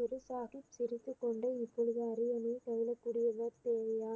குரு சாஹிப் சிரித்துக்கொண்டு இப்பொழுது அரியணையில் பயிலக்கூடியவர் தேவையா